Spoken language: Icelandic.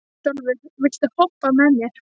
Bótólfur, viltu hoppa með mér?